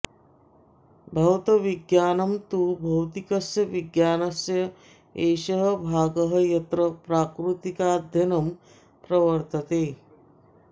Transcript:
भौतविज्ञानं तु भौतिकस्य विज्ञानस्य एषः भागः यत्र प्राकृतिकाध्ययनं प्रवर्तते